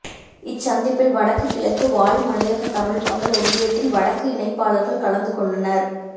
இச் சந்திப்பில் வடக்கு கிழக்கு வாழ் மலையக தமிழ் மக்கள் ஒன்றியத்தின் வடக்கு இணைப்பாளர்கள் கலந்துகொண்டனா்